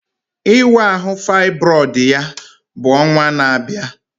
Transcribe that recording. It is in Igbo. Ịwa ahụ faịbroid ya bụ ọnwa na-abịa